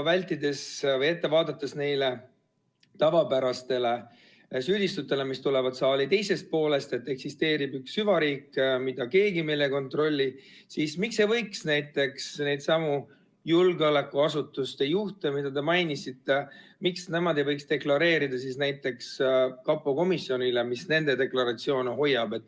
Nähes juba ette neid tavapäraseid süüdistusi, mis tulevad saali teisest poolest ja mille järgi eksisteerib üks süvariik, mida keegi meil ei kontrolli, siis miks ei võiks needsamad julgeolekuasutuste juhid, keda te mainisite, deklareerida oma huve näiteks kapo komisjonile, mis nende deklaratsioone hoiab.